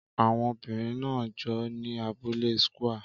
Àwọn obìnrin náà ń jó ní abúlé square